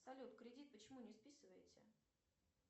салют кредит почему не списывается